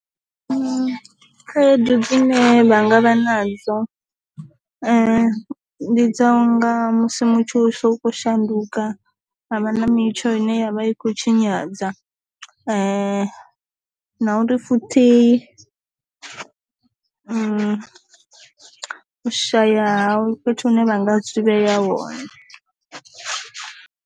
Khaedu dzine vha nga vha nadzo ndi dza unga musi mutsho so ko shanduka havha na mitsho ine yavha i kho tshinyadza na uri futhi u shaya fhethu hune vha nga zwi vhea hone.